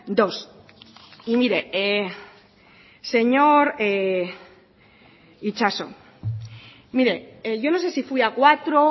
dos y mire señor itxaso mire yo no se si fui a cuatro